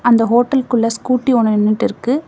அந்த ஹோட்டல்குள்ள ஸ்கூட்டி ஒன்னு நின்னுட்டுருக்கு.